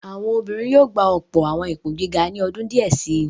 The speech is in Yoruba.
Àwọn obìnrin yóò gba ọ̀pọ̀ àwọn ipò gíga ní ọdún díẹ̀ si.